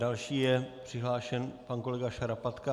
Další je přihlášen pan kolega Šarapatka.